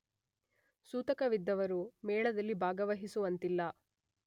ಸೂತಕವಿದ್ದವರು ಮೇಳದಲ್ಲಿ ಭಾಗವಹಿಸುವಂತಿಲ್ಲ.